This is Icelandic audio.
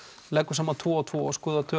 leggur saman tvo og tvo